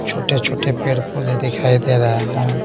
छोटे-छोटे पेड़-पौधे दिखाई दे रहा है।